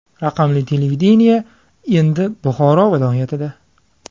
Raqamli televideniye endi Buxoro viloyatida.